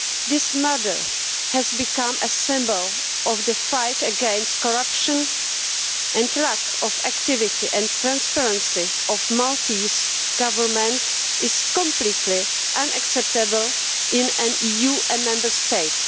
This murder has become a symbol of the fight against corruption and lack of activity and transparency of the Maltese Government is completely unacceptable in an EU Member State.